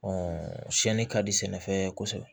siyɛnni ka di sɛnɛfɛn ye kosɛbɛ